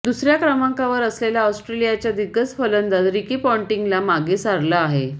दुसऱ्या क्रमांकावर असलेल्या ऑस्ट्रेलियाचा दिग्गज फलंदाज रिकी पॉन्टिंगला मागं सारलं आहे